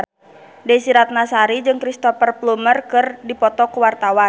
Desy Ratnasari jeung Cristhoper Plumer keur dipoto ku wartawan